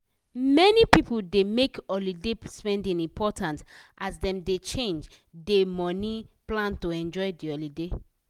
many people dey make holiday spending important as dem dey change dey money plan to enjoy de holiday.